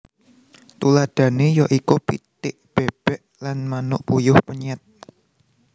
Tuladhané ya iku pitik bèbèk lan manuk puyuh penyèt